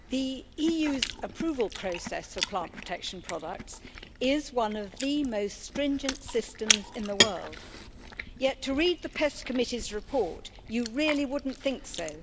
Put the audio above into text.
Mr President, the EU's approval process for plant protection products is one of the most stringent systems in the world, yet to read the PEST Committee's report you really wouldn't think so.